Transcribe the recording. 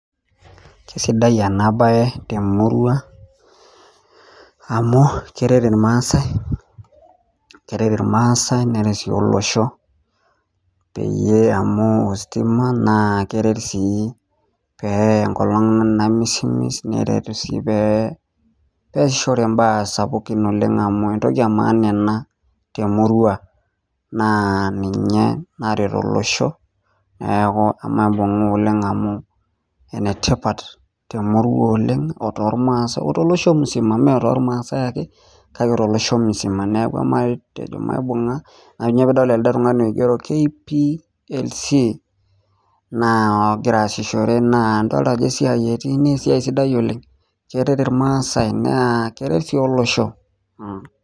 Sidai ena bae temurua amu keret irmaasae neret olosho neeku ore engolong namisimis naa keasishoreki neeku maibunga esiai ositima naleng, naa keretisho katukul nereu yiok pooki dukuya